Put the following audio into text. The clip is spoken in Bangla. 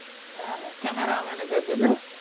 হ্যাঁ হ্যাঁ camera manager যেটা